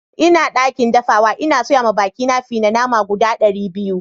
N'na dakin dafuwa, n'na soya ma baki na fi na nama guda dari biyu.